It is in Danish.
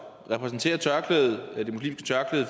repræsenterer tørklæde